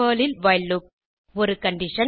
Perl ல் while loop ஒரு condition